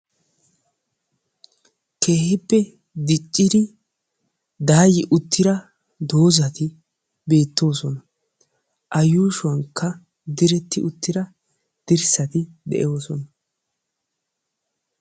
Keehippe diccidi daayyi uttida doozari beettoosona. A yuushshuwankka diretti uttida dirssari de'oosona.